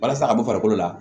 Walasa a ka bɔ farikolo la